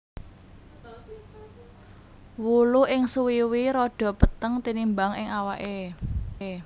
Wulu ing suwiwi rada peteng tinimbang ing awaké